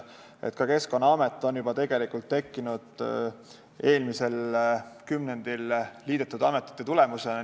Ka Keskkonnaamet tekkis eelmisel kümnendil liidetud ametite tulemusena.